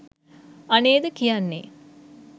අනේද කියන්නේ